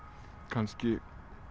kannski